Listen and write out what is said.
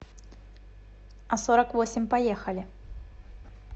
а сорок восемь поехали